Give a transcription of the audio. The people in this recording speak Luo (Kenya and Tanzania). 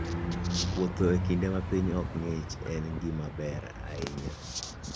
Wuoth e kinde ma piny ok ng'ich en gima ber ahinya.